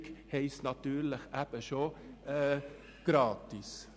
Niederschwellig bedeutet natürlich schon gratis.